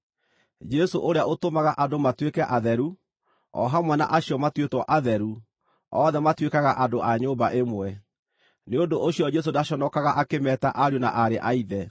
Jesũ ũrĩa ũtũmaga andũ matuĩke atheru, o hamwe na acio matuĩtwo atheru, othe matuĩkaga andũ a nyũmba ĩmwe. Nĩ ũndũ ũcio Jesũ ndaconokaga akĩmeeta ariũ na aarĩ a Ithe.